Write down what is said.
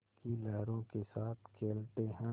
की लहरों के साथ खेलते हैं